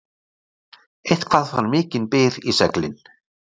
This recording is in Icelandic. Eitthvað fær mikinn byr í seglin